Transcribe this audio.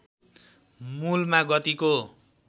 मूलमा गतिको